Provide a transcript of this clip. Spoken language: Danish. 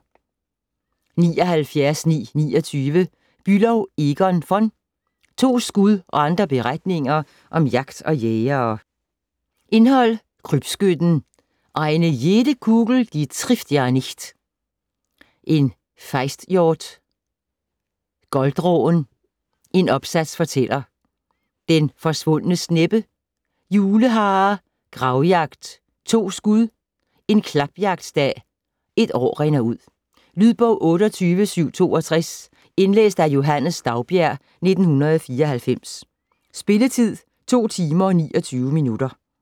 79.929 Bülow, Egon v.: To skud og andre beretninger om jagt og jægere Indhold: Krybskytten ; Eine jede Kugel die trifft ja nicht! ; En fejsthjort ; Goldråen ; En opsats fortæller ; Den forsvundne sneppe ; Juleharer ; Gravjagt ; To skud ; En klapjagtdag ; Et år rinder ud. Lydbog 28762 Indlæst af Johannes Daugbjerg, 1994. Spilletid: 2 timer, 29 minutter.